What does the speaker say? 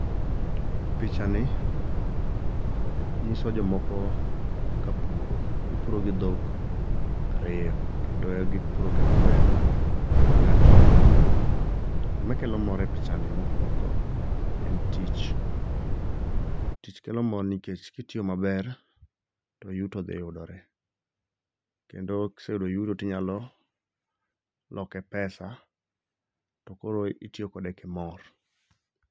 Pichani, nyiso jomoko ka puro. Gipuro gi dhok ariyo kendo gipuro gi kwer manyachon cha. Gimakelo mor e pichani mokwongo en tich. Tich kelo mor nikech kitiyo maber to yuto dhi yudore kendo kiseyudo yuto tinyalo loke pesa to koro itiyokode kimor.